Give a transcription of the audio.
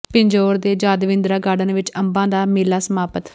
ਪਿੰਜੌਰ ਦੇ ਯਾਦਵਿੰਦਰਾ ਗਾਰਡਨ ਵਿੱਚ ਅੰਬਾਂ ਦਾ ਮੇਲਾ ਸਮਾਪਤ